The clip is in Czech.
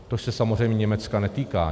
To se samozřejmě Německa netýká.